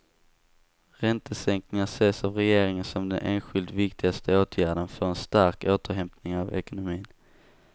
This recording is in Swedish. Räntesänkningar ses av regeringen som den enskilt viktigaste åtgärden för en stark återhämtning av ekonomin.